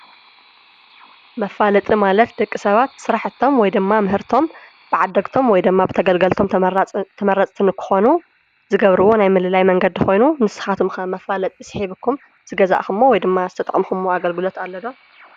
መፋለጢ ማለት ደቂሰባት ስራሕቶም ወይድማ ምህርቶም ብዓደግቶም ወይ ድማ ብተገልገልቲ ተመረፅቲ ንክኾኑ ዝገብርዎ ናይ ምልላይ መንገዲ ኮይኑ ንስኻትኩም ከ መፋለጢ ስሒብኩም ዝገዛእኩሞ ወይድማ ዝተጠኸምኩሞ ኣገልግሎት አሎ ዶ?